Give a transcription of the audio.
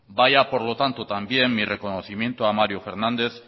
vaya por lo tanto también mi reconocimiento a mario fernández